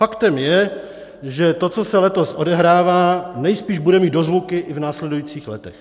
Faktem je, že to, co se letos odehrává, nejspíš bude mít dozvuky i v následujících letech.